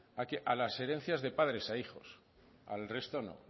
a las herencias de padres a hijos al resto no